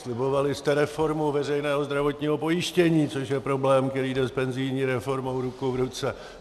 Slibovali jste reformu veřejného zdravotního pojištění, což je problém, který jde s penzijní reformou ruku v ruce.